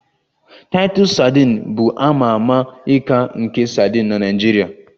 Titus sadin bụ a ma ama ika nke sadin na Naijiria